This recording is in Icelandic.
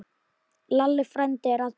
Lalli frændi er allur.